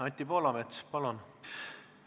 Anti Poolamets, palun!